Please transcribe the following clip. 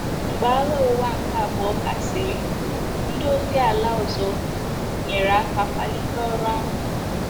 Mgbe Agha Ụwa nke Abụọ gasịrị, ndị ozi ala ọzọ nyere aka kwalite ọrụ ahụ.